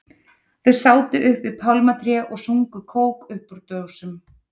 Þau sátu upp við pálmatré og sugu kók upp úr dósum.